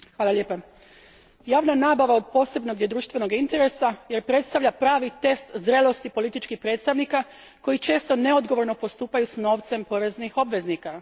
Gospodine predsjedniče, javna nabava od posebnog je društvenog interesa jer predstavlja pravi test zrelosti političkih predstavnika koji često neodgovorno postupaju s novcem poreznih obveznika.